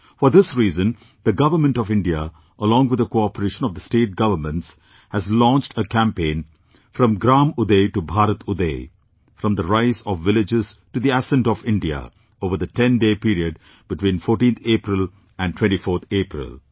For this reason, the Government of India, along with the cooperation of the State Governments, has launched a campaign "From Gram Uday to Bharat Uday" From the Rise of Villages to the Ascent of India, over the 10day period between 14th April and 24th April